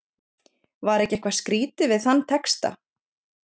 Var ekki eitthvað skrýtið við þann texta?